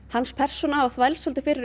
hans persóna hafa þvælst svolítið fyrir